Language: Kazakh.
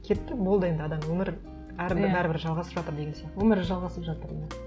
кетті болды енді адам өмірі бәрі бір жалғасып жатыр деген сияқты өмірі жалғасып жатыр иә